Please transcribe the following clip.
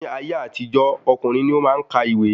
Ní ayé àtijó, ọkùnrin ni o maá n kà ìwé